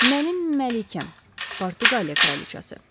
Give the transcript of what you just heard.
Mənim Məlikəm Portuqaliya kraliçası.